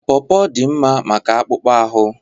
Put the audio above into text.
Pọrpọr dị mma maka akpụkpọ ahụ.